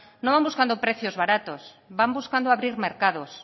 no van buscando precios baratos van buscando abrir mercados